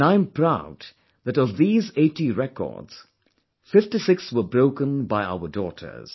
And I am proud that of these 80 records, 56 were broken by our daughters